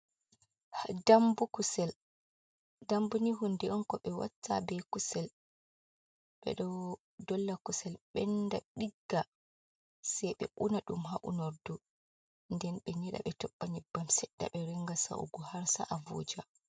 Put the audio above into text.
Dambu kusel, dambu ni hunde on ko ɓe watta be kusel ɓe dolla kusel ɓenda ɗigga se ɓe una ɗum ha unordu, nden ɓe nyeɗa ɓe toɓɓa nyebbam seɗɗa ɓe ringa sa'ugo harsa’a voja.